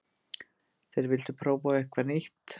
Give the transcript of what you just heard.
Þeir vildu prófa eitthvað nýtt.